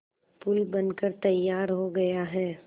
पुल बनकर तैयार हो गया है